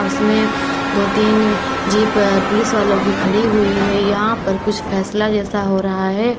उसमें दो तीन जीप पुलिस वालो की खड़ी हुई है यहां पर कुछ फैसला जैसा हो रहा है।